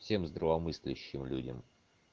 всем здравомыслящим людям